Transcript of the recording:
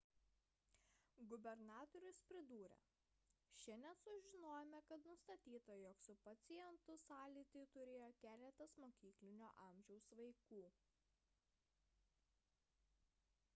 gubernatorius pridūrė šiandien sužinojome kad nustatyta jog su pacientu sąlytį turėjo keletas mokyklinio amžiaus vaikų